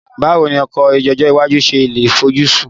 Báwo ni ọkọ̀ ọjọ́ iwájú ṣe lè fojúsùn